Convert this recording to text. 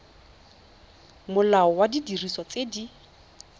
molao wa didiriswa tse di